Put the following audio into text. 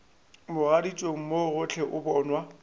mogaditšong mo gohle o bonwa